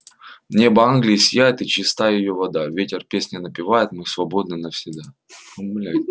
небо англии сияет и чиста её вода ветер песни напевает мы свободны навсегда